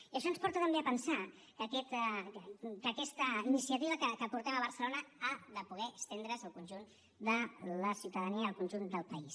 i això ens porta també a pensar que aquesta iniciativa que portem a barcelona ha de poder estendre’s al conjunt de la ciutadania i al conjunt del país